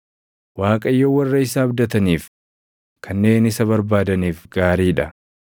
Waaqayyo warra isa abdataniif, kanneen isa barbaadaniif gaarii dha;